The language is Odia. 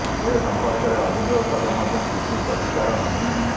ଏ ସଂପର୍କରେ ଅଭିଯୋଗ କଲେ ମଧ୍ୟ କିଛି ପ୍ରତିକାର ନାହିଁ